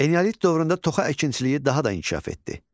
Eneolit dövründə toxa əkinçiliyi daha da inkişaf etdi.